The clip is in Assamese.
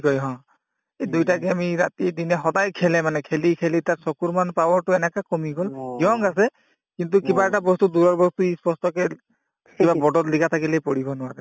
কই হ এই দুইটা game য়ে ই ৰাতিয়ে দিনে সদায় খেলে মানে খেলি খেলি তাৰ চকুৰ মান power তো এনেকে কমি গল young আছে কিন্তু কিবা এটা বস্তু দূৰৰ বস্তু সি স্পষ্টকে কিবা board ত লিখা থাকিলে সি পঢ়িব নোৱাৰে